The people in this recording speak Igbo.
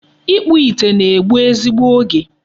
Ịkpụ ite na-egbu ezigbo oge.